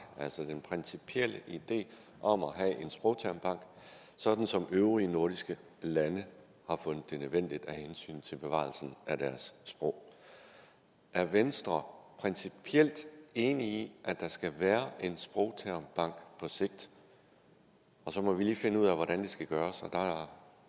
altså den principielle idé om at have en sprogtermbank sådan som øvrige nordiske lande har fundet det nødvendigt af hensyn til bevarelsen af deres sprog er venstre principielt enig i at der skal være en sprogtermbank på sigt og så må vi lige finde ud af hvordan det skal gøres og